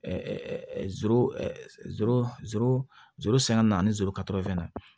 sanga na ni zoro ka to fɛn na